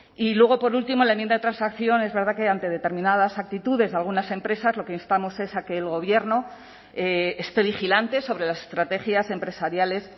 y luego por último la enmienda de transacción es verdad que ante determinadas actitudes de algunas empresas lo que instamos es a que el gobierno esté vigilante sobre las estrategias empresariales